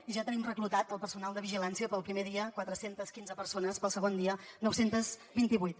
i ja tenim reclutat el personal de vigilància per al primer dia quatre cents i quinze persones per al segon dia nou cents i vint vuit